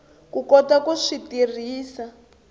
ku kota ku swi tirhisa